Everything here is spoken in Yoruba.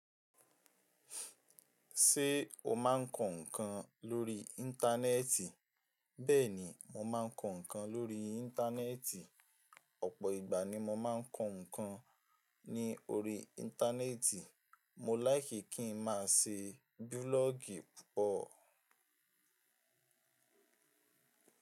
Ṣé o máa ń kọ ǹkan lórí ińtánẹ́ẹ̀tì? Bẹ́ẹ̀ ni, mo má ń kọ ǹkan lórí ińtánẹ́ẹ̀tì. Ọ̀pọ̀ ìgbà ni mo má ń kọ ǹkan ní orí Íńtánẹ́ẹ̀tì. Mo láìkí kí ń má ṣe búlọ́ọ̀gì púpọ̀.